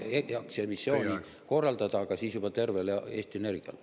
Me tahame aktsiaemissiooni korraldada, aga siis juba tervele Eesti Energiale.